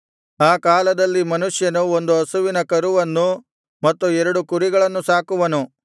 ಆ ಕಾಲದಲ್ಲಿ ಮನುಷ್ಯನು ಒಂದು ಹಸುವಿನ ಕರುವನ್ನು ಮತ್ತು ಎರಡು ಕುರಿಗಳನ್ನು ಸಾಕುವನು